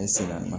Ne sera